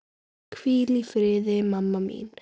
Hvíl í friði mamma mín.